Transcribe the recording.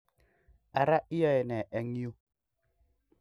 Ara iyoe ne eng yu?